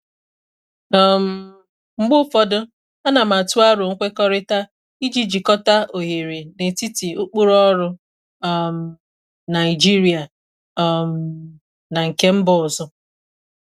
um Mgbe ụfọdụ, ana m atụ aro nkwekọrịta iji jikọta oghere n'etiti ụkpụrụ ọrụ um Naịjirịa um na nke mba ọzọ.